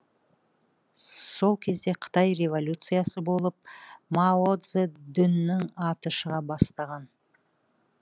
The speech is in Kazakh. сол кезде қытай революциясы болып мао цзедунның аты шыға бастаған